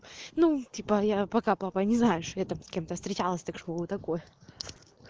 ну типа я пока папа не знаю что я там с кем-то встречалась так что такой